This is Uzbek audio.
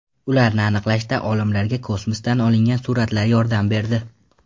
Ularni aniqlashda olimlarga kosmosdan olingan suratlar yordam berdi.